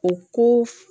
O ko